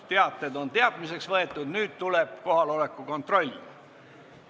Teated on teadmiseks võetud, nüüd tuleb kohaloleku kontroll.